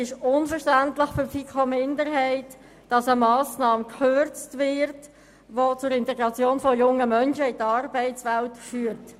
Für die FiKo-Minderheit ist es unverständlich, dass eine Massnahme gekürzt wird, die zur Integration von jungen Menschen in die Arbeitswelt führt.